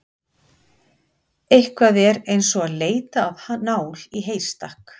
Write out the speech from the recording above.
Eitthvað er eins og að leita að nál í heystakk